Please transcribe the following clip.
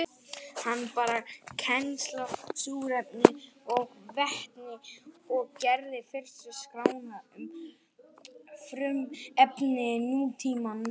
Hann bar kennsl á súrefni og vetni og gerði fyrstu skrána um frumefni nútímans.